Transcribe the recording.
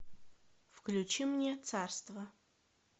включи мне царство